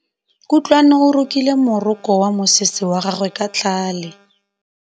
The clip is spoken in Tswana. Kutlwanô o rokile morokô wa mosese wa gagwe ka tlhale.